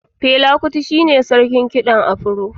Fela Kuti shi ne sarkin kiɗan afiro